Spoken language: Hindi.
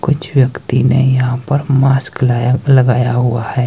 कुछ व्यक्ति ने यहां पर मास्क लाया लगाया हुआ है।